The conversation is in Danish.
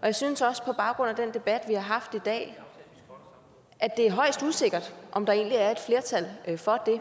og jeg synes også på baggrund af den debat vi har haft i dag er højst usikkert om der egentlig er et flertal for det